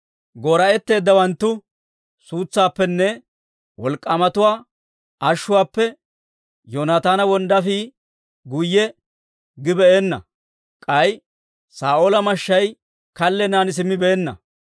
Goora'etteeddawanttu suutsaappenne, wolk'k'aamatuwaa ashuwaappe, Yoonataana wonddaafii guyye gibeenna. K'ay Saa'oola mashshay kallennan simmibeenna.